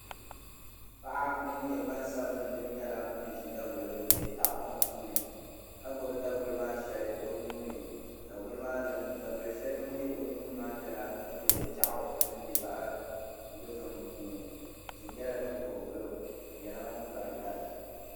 Paɣa ŋun nyɛ gbansabinli nira nyɛla ŋun ʒi daguli din bɛ tahapoŋ puuni ka gbubi daguli maa shɛli o nuuni daguli shɛli din bɛ o nuuni maa nyɛla din bɛ piɛɣu din nyɛ zaɣ dozim puuni tihi nyɛla din ko n gilo o nyɛla ŋun bahi lari